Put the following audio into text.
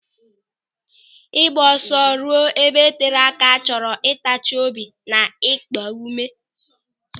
Ịgba ọsọ ruo ebe tere aka chọrọ ntachi obi na ịkpa ụme.